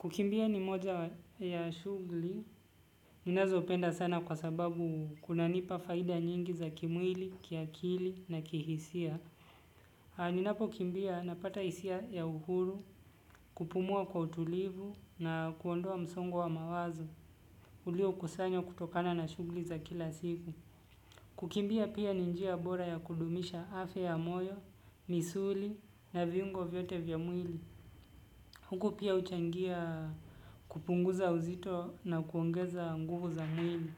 Kukimbia ni moja ya shughuli, ninazopenda sana kwa sababu kunanipa faida nyingi za kimwili, kiakili na kihisia. Ninapo kimbia napata hisia ya uhuru, kupumua kwa utulivu na kuondoa msongo wa mawazo, ulio kusanya kutokana na shughuli za kila siku. Kukimbia pia ni njia bora ya kudumisha afya ya moyo, misuli na viungo vyote vya mwili. Huku pia huchangia kupunguza uzito na kuongeza nguvu za mwili.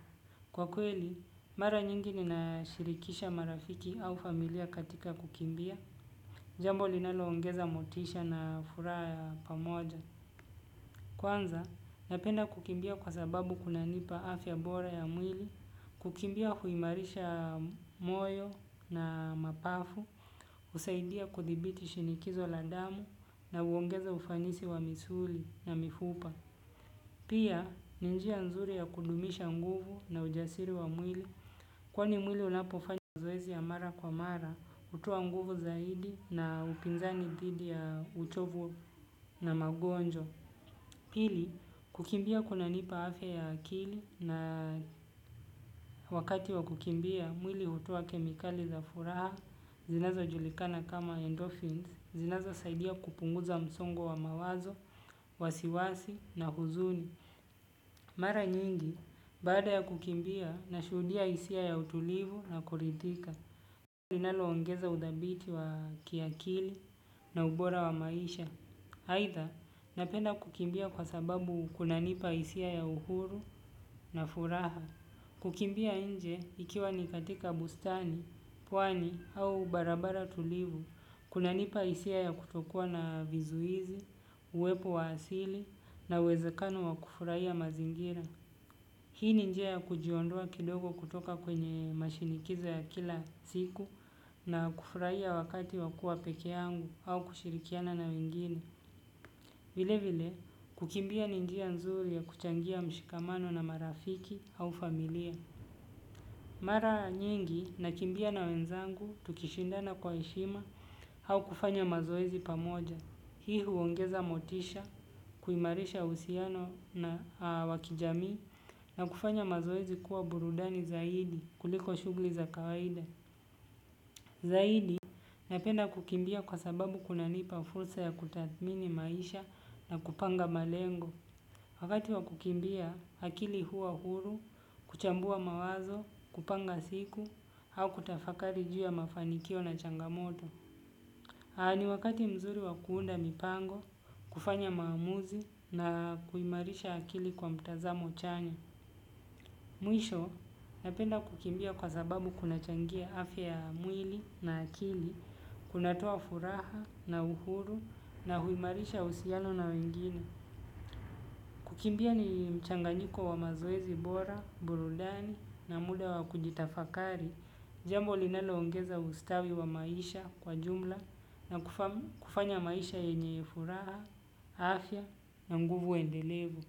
Kwa kweli, mara nyingi nina shirikisha marafiki au familia katika kukimbia. Jambo linaloongeza motisha na furaha ya pamoja. Kwanza, napenda kukimbia kwa sababu kuna nipa afya bora ya mwili. Kukimbia huimarisha moyo na mapafu. Husaidia kuthibiti shinikizo la damu na huongeza ufanisi wa misuli na mifupa. Pia ni njia nzuri ya kudumisha nguvu na ujasiri wa mwili kwani mwili unapofanya zoezi ya mara kwa mara hutoa nguvu zaidi na upinzani dhidi ya uchovu na magonjwa. Pili kukimbia kuna nipa afya ya akili na wakati wa kukimbia. Mwili hutoa kemikali za furaha zinazo julikana kama endorphins zinazo saidia kupunguza msongo wa mawazo, wasiwasi na huzuni. Mara nyingi, baada ya kukimbia na shuhudia hisia ya utulivu na kuridhika. Linalo ongeza udhabiti wa kiakili na ubora wa maisha. Haitha, napenda kukimbia kwa sababu kuna nipa hisia ya uhuru na furaha. Kukimbia nje ikiwa ni katika bustani pwani au barabara tulivu kunanipa hisia ya kutokuwa na vizuizi uwepo wa asili na uwezekano wa kufurahia mazingira. Hii ni njia ya kujiondoa kidogo kutoka kwenye mashinikiza ya kila siku na kufurahia wakati wa kuwa pekee yangu au kushirikiana na wengine. Vile vile, kukimbia ni njia nzuri ya kuchangia mshikamano na marafiki au familia. Mara nyingi na kimbia na wenzangu tukishindana kwa heshima au kufanya mazoezi pamoja. Hii huongeza motisha, kuimarisha uhusiano na wa kijamii na kufanya mazoezi kuwa burudani zaidi kuliko shughuli za kawaida. Zaidi napenda kukimbia kwa sababu kunanipa fursa ya kutathmini maisha na kupanga malengo. Wakati wa kukimbia, akili huwa huru, kuchambua mawazo, kupanga siku au kutafakari juu ya mafanikio na changamoto. Na ni wakati mzuri wa kuunda mipango, kufanya maamuzi na kuimarisha akili kwa mtazamo chanya. Mwisho napenda kukimbia kwa sababu kunachangia afya ya mwili na akili, kunatoa furaha na uhuru na huimarisha uhusiano na wengine. Kukimbia ni mchanganyiko wa mazoezi bora, burudani na muda wa kujitafakari. Jambo linaloongeza ustawi wa maisha kwa jumla na kufanya maisha yenye furaha, afya na nguvu endelevu.